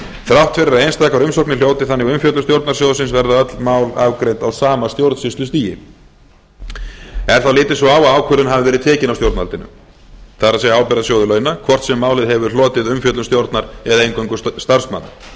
þrátt fyrir að einstakar umsóknir hljóti þannig umfjöllun stjórnar sjóðsins verða öll mál afgreidd á sama stjórnsýslustigi er þá litið svo á að ákvörðun hafi verið tekin af stjórnvaldinu það er ábyrgðasjóður launa hvort sem málið hefur hlotið umfjöllun stjórnar eða eingöngu starfsmanna í reynd